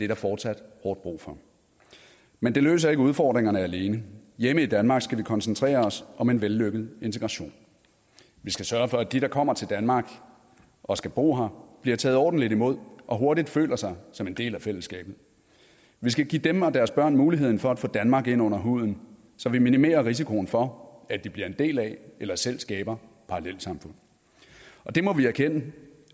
der fortsat hårdt brug for men det løser ikke udfordringerne alene hjemme i danmark skal vi koncentrere os om en vellykket integration vi skal sørge for at de der kommer til danmark og skal bo her bliver taget ordentligt imod og hurtigt føler sig som en del af fællesskabet vi skal give dem og deres børn muligheden for at få danmark ind under huden så vi minimerer risikoen for at de bliver en del af eller selv skaber parallelsamfund og det må vi erkende